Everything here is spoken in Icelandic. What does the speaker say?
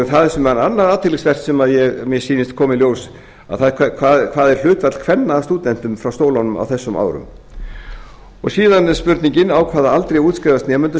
það sem var annað athyglisvert sem mér sýnist koma í ljós hvert er hlutfall kvenna af stúdentum frá skólanum á þessum árum síðan er spurningin á hvaða aldri útskrifast nemendur